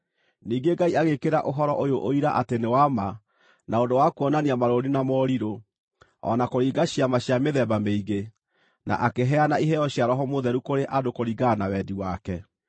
Ningĩ Ngai agĩĩkĩra ũhoro ũyũ ũira atĩ nĩ wa ma na ũndũ wa kuonania marũũri na morirũ, o na kũringa ciama cia mĩthemba mĩingĩ, na akĩheana iheo cia Roho Mũtheru kũrĩ andũ kũringana na wendi wake.